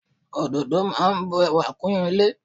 Ododo máa bu ẹwà kún ilé.